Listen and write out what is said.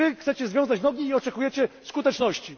I Wy chcecie związać nogi i oczekujecie skuteczności.